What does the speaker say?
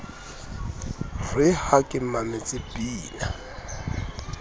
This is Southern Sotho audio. re ha ke mametse pina